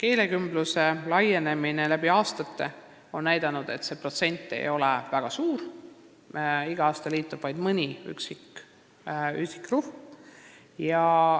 Aastad on näidanud, et keelekümbluse laienemise protsent ei ole väga suurenenud: iga aasta liitub vaid mõni üksik grupp.